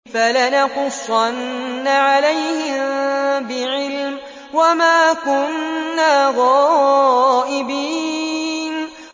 فَلَنَقُصَّنَّ عَلَيْهِم بِعِلْمٍ ۖ وَمَا كُنَّا غَائِبِينَ